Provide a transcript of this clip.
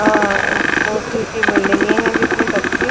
अ ऊंची ऊंची बिल्डिगें हैं जिसमें बच्चे--